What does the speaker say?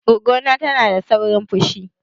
Goggo na tana da saurin fushi.